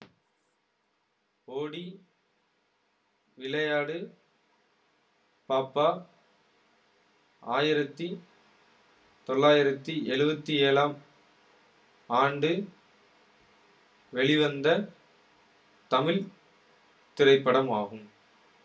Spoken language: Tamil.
ஓடி விளையாடு பாப்பா ஆயிரத்தி தொள்ளாயிரத்தி எழுவத்தி ஏழாம் ஆண்டு வெளிவந்த தமிழ் திரைப்படமாகும்